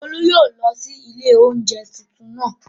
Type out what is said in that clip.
Olú yóò lọ sí ilé oúnjẹ tuntun naa